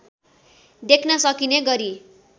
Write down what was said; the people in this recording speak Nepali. देख्न सकिने गरी